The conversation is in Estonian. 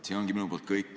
See ongi minu poolt kõik.